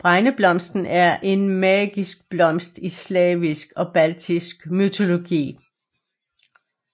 Bregneblomsten er en magisk blomst i slavisk og baltisk mytologi